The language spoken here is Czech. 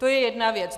To je jedna věc.